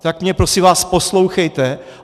Tak mě prosím vás, poslouchejte!